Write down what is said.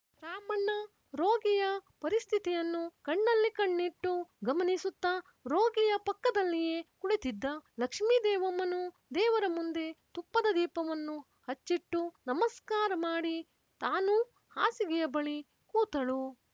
ರಾಮಣ್ಣ ರೋಗಿಯ ಪರಿಸ್ಥಿತಿಯನ್ನು ಕಣ್ಣಲ್ಲಿ ಕಣ್ಣಿಟ್ಟು ಗಮನಿಸುತ್ತ ರೋಗಿಯ ಪಕ್ಕದಲ್ಲಿಯೇ ಕುಳಿತಿದ್ದ ಲಕ್ಷ್ಮೀದೇವಮ್ಮನೂ ದೇವರ ಮುಂದೆ ತುಪ್ಪದ ದೀಪವನ್ನು ಹಚ್ಚಿಟ್ಟು ನಮಸ್ಕಾರ ಮಾಡಿ ತಾನೂ ಹಾಸಿಗೆಯ ಬಳಿ ಕೂತಳು